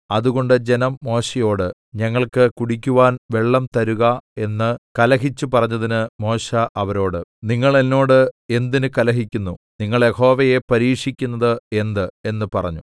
അതുകൊണ്ട് ജനം മോശെയോട് ഞങ്ങൾക്ക് കുടിക്കുവാൻ വെള്ളം തരുക എന്ന് കലഹിച്ചു പറഞ്ഞതിന് മോശെ അവരോട് നിങ്ങൾ എന്നോട് എന്തിന് കലഹിക്കുന്നു നിങ്ങൾ യഹോവയെ പരീക്ഷിക്കുന്നത് എന്ത് എന്ന് പറഞ്ഞു